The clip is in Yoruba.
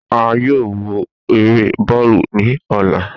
A yoo wo ere bọọlu ni ọla.